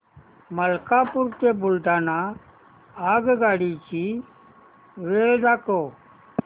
मलकापूर ते बुलढाणा आगगाडी ची वेळ दाखव